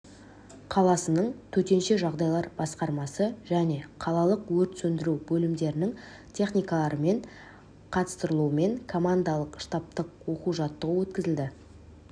қаласының төтенше жағдайлар басқармасы және қалалық өрт сөндіру бөлімдерінің техникаларымен қатыстырылуымен командалық-штабтық оқу жаттығу өткізілді